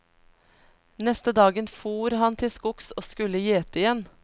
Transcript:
Neste dagen fór han til skogs og skulle gjete igjen.